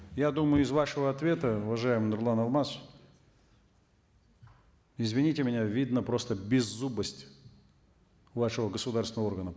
я думаю из вашего ответа уважаемый нурлан алмасович извините меня видна просто беззубость вашего государственного органа